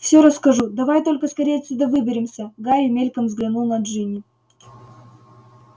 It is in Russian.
всё расскажу давай только скорее отсюда выберемся гарри мельком взглянул на джинни